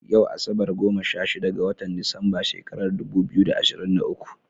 Yau asabar, goma sha shida ga watan Disamba shekarar dubu biyu da ashirin da uku.